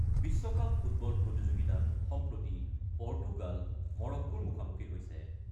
বিশ্বকাপ ফুটবল প্ৰতিযোগিতাত সম্প্ৰতি পৰ্টুগাল মৰক্কোৰ মুখামুখি হৈছে ।